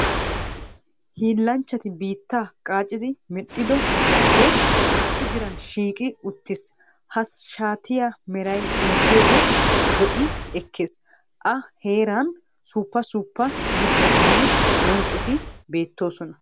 Hiillanchchati biittaa gaaccidi medhiddo shaatee issi diran shiiqqi uttiis. Ha shaatiya meray xeeliyode zo'i ekees, a heeran suppa suuppa mitattinne bonccoti beetoosona.